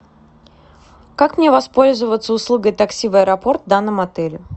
как мне воспользоваться услугой такси в аэропорт в данном отеле